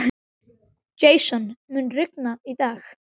Jason, mun rigna í dag?